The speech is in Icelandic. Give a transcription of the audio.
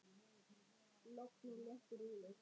Logn og léttur úði.